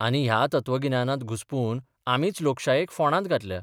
आनी ह्या तत्वगिन्यानांत घुस्पून आमीच लोकशायेक फोंडांत घातल्या.